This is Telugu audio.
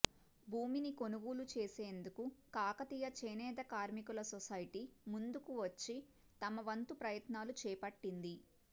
భూమిని కొనుగోలు చేసేందుకు కాకతీయ చేనేత కార్మికుల సోసైటీ ముందుకు వచ్చి తమ వంతు ప్రయత్నాలు చేపట్టింది